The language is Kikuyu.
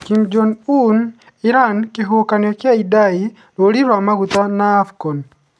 Kim Jong Un, Iran, kĩhuhũkanio kĩa Idai, rori ya maguta na Afcon